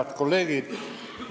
Head kolleegid!